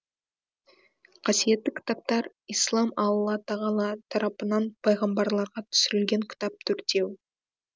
қасиетті кітаптар ислам алла тағала тарапынан пайғамбарларға түсірілген кітап төртеу